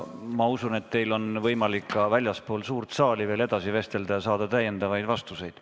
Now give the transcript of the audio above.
Ma usun, et teil on võimalik ka väljaspool suurt saali edasi vestelda ja saada täiendavaid vastuseid.